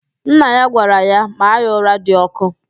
Nna ya gwara ya, maa ya ụra dị ọkụ!